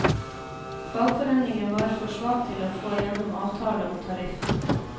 Fagforeningen var for svak til å få gjennom avtale om tariff.